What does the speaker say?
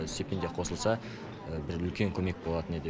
стипендия қосылса бір үлкен көмек болатын еді